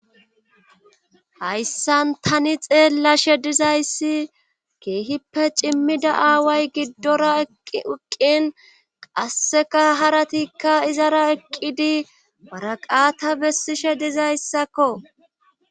hayssan tani xeellashe dizayssi keehippe cimmida aaway giddora uqqin qasseka haratikka izara eqqidi baraqata bessishe dizayssakko